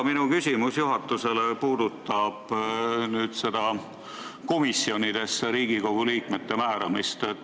Minu küsimus juhatusele puudutab aga Riigikogu liikmete komisjonidesse määramist.